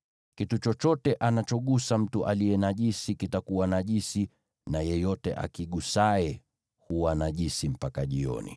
Kitu chochote anachogusa mtu aliye najisi kitakuwa najisi, na yeyote akigusaye huwa najisi mpaka jioni.”